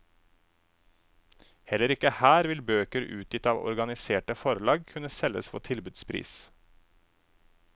Heller ikke her vil bøker utgitt av organiserte forlag kunne selges for tilbudspris.